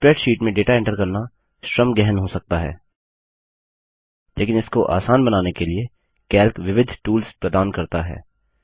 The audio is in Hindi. स्प्रैडशीट में डेटा एंटर करना श्रम गहन हो सकता है लेकिन इसको आसान बनाने के लिए कैल्क विविध टूल्स प्रदान करता है